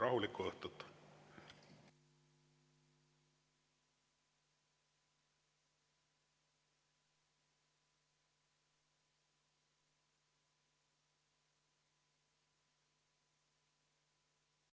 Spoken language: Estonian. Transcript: Rahulikku õhtut!